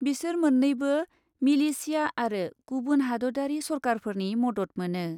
बिसोर मोननैबो मिलिशिया आरो गुबुन हादतयारि सरकारफोरनि मदत मोनो ।